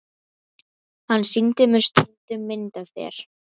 Hann sýndi mér stundum mynd af þér.